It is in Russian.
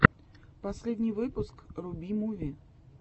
последний выпуск руби муви